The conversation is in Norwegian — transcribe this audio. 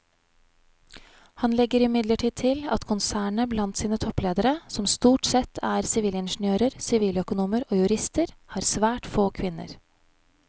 Han legger imidlertid til at konsernet blant sine toppledere som stort sette er sivilingeniører, siviløkonomer og jurister har svært få kvinner.